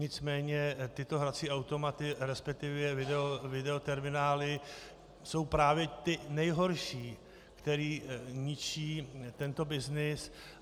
Nicméně tyto hrací automaty, respektive videoterminály jsou právě ty nejhorší, které ničí tento byznys.